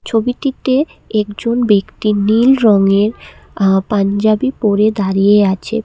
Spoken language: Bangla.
ছবিটিতে একজন ব্যক্তি নীল রঙের আ পাঞ্জাবি পরে দাঁড়িয়ে আছে পে--